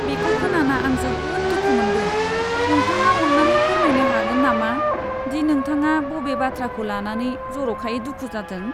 बेखौ खोनाना आं जोबोद दुखु मोनदों। नोंथाङा अन्नानै फोरमायनो हागोन नामा दि नोंथाङा बबे बाथ्राखौ लानानै जरखायै दुखु जादों?